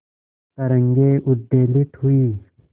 तरंगे उद्वेलित हुई